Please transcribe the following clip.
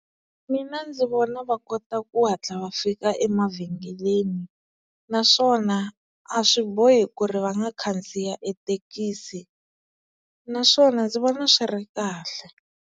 Mina ndzi vona va kota ku hatla va fika emavhengeleni naswona a swi bohi ku ri va nga khandziya ethekisi naswona ndzi vona swi ri kahle.